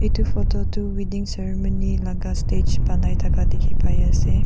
etu photo tu wedding ceremony laga stage banai thaka dikhi pai ase.